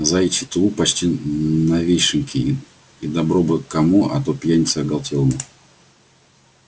заячий тулуп почти новёшенький и добро бы кому а то пьянице оголелому